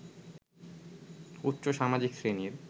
উচ্চ সামাজিক শ্রেণীর